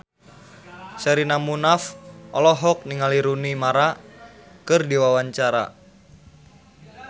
Sherina Munaf olohok ningali Rooney Mara keur diwawancara